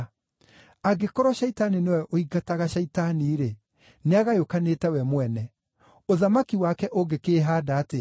Angĩkorwo Shaitani nĩwe ũingataga Shaitani-rĩ, nĩagayũkanĩte we mwene. Ũthamaki wake ũngĩkĩĩhaanda atĩa?